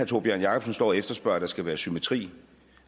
tórbjørn jacobsen står og efterspørger at der skal være symmetri